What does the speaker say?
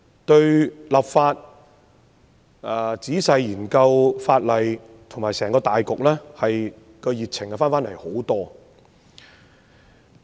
對於立法、仔細研究法例，以及整個大局，我也重拾熱情。